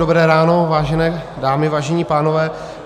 Dobré ráno, vážené dámy, vážení pánové.